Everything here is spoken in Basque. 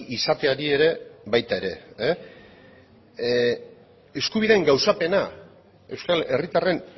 izateari ere eskubideen gauzapena euskal herritarren